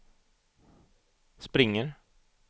springer